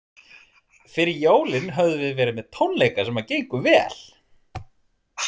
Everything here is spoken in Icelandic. Fyrir jólin höfðum við verið með tónleika sem gengu vel.